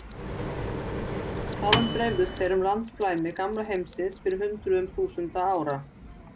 Þaðan dreifðust þeir um landflæmi gamla heimsins fyrir hundruðum þúsunda ára.